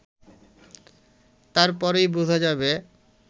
তারপরই বোঝা যাবে